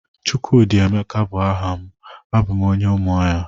chukwudi emeka bu aha m, abum onye umuahia